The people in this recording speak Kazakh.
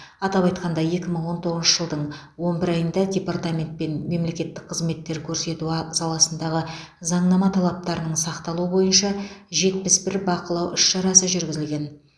атап айтқанда екі мың он тоғызыншы жылдың он бір айында департаментпен мемлекеттік қызметтер көрсету а саласындағы заңнама талаптарының сақталуы бойынша жетпіс бір бақылау іс шарасы жүргізілген